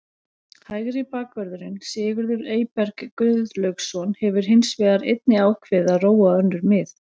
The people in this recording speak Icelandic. Hægri bakvörðurinn Sigurður Eyberg Guðlaugsson hefur hins vegar einnig ákveðið að róa á önnur mið.